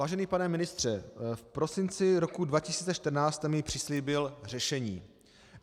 Vážený pane ministře, v prosinci roku 2014 jste mi přislíbil řešení.